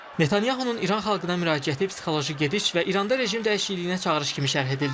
Netanyahunun İran xalqına müraciəti psixoloji gediş və İranda rejim dəyişikliyinə çağırış kimi şərh edildi.